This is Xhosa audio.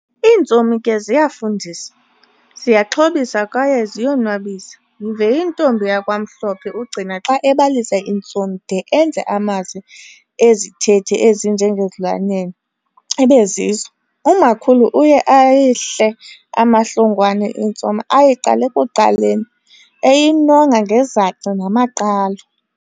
intsomi ke ziyafundisa, ziyaxhobisa kwaye ziyo nwabisa yive intombi yakwaMhlophe uGcina xa ebalisa intsomi de enze amazwi ezithethi ezinje ngezilwanyana ibezizo. Umakhulu uye ayihle amahlongwane intsomi eyiqala ekuqaleni eyinonga ngezaci namaqhalo.